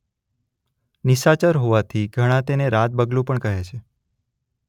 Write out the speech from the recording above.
નિશાચર હોવાથી ઘણા એને રાત બગલું પણ કહે છે.